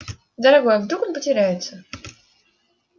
дорогой а вдруг он потеряется